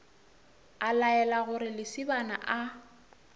a laela gore lesibana a